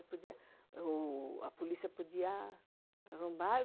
É, porque a polícia podia arrombar.